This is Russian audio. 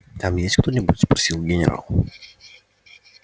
там есть кто-нибудь спросил генерал